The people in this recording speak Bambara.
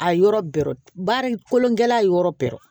A yɔrɔ bɛrɛ baara in kolon gɛlɛn yɔrɔ bɛrɛ